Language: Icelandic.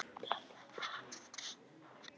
Og snerting hennar brennir.